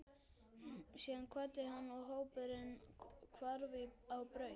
Síðan kvaddi hann og hópurinn hvarf á braut.